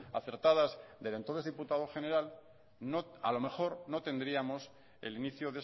acertadas del entonces diputado general a lo mejor no tendríamos el inicio